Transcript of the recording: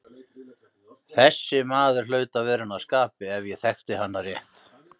Þessi maður hlaut að vera henni að skapi ef ég þekkti hana rétt.